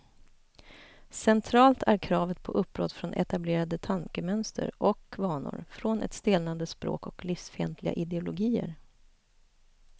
Centralt är kravet på uppbrott från etablerade tankemönster och vanor, från ett stelnande språk och livsfientliga ideologier.